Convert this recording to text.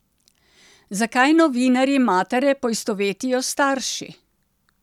Zakaj novinarji matere poistovetijo s starši?